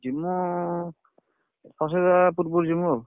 ଯିମୁ ସରସ୍ୱତୀ ପୂଜା ପୂର୍ବରୁ ଯିବୁ ଆଉ।